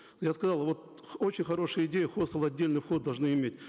я сказал вот очень хорошая идея хостелы отдельный вход должны иметь